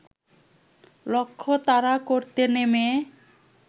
লক্ষ্য তাড়া করতে নেমে